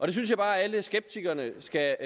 det synes jeg bare at alle skeptikerne skal